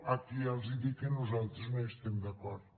aquí ja els dic que nosaltres no hi estem d’acord